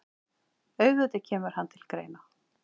Auðvitað kemur hann til greina.